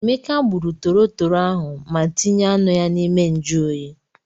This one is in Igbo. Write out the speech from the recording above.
Emeka gburu torotoro ahụ ma tinye anụ ya n'ime njụ oyi.